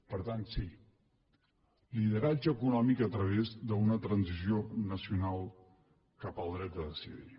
per tant sí lideratge econòmic a través d’una transició nacional cap al dret a decidir